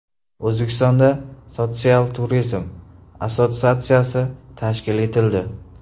O‘zbekistonda Sotsial turizm assotsiatsiyasi tashkil etildi.